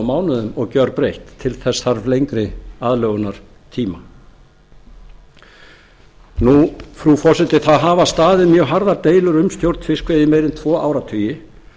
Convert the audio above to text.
mánuðum og gjörbreytt til þess þarf lengri aðlögunartíma frú forseti það hafa staðið mjög harðar deilur um stjórn fiskveiða í meira en tvo áratugi